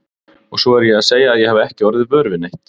Og svo er ég að segja að ég hafi ekki orðið vör við neitt!